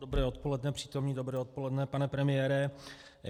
Dobré odpoledne, přítomní, dobré odpoledne, pane premiére.